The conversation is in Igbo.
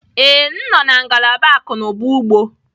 Ee, m nọ na ngalaba akụ na ụba ugbo